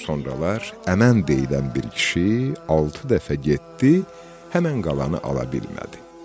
Sonralar Əmən deyilən bir kişi altı dəfə getdi, həmin qalanı ala bilmədi.